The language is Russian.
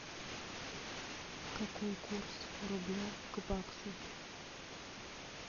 какой курс рубля к баксу